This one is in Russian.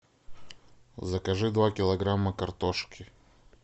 закажи два килограмма картошки